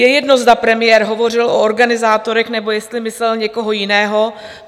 Je jedno, zda premiér hovořil o organizátorech, nebo jestli myslel někoho jiného.